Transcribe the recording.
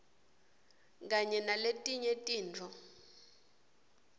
kanye naletinye tifo